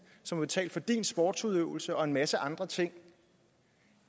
som har betalt for din sportsudøvelse og en masse andre ting